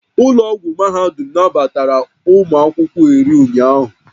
Ụlọ ọgwụ mahadum nabatara ụmụ akwụkwọ iri ụnyaahụ